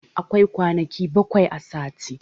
Akwai kwanaki baƙwai a sati.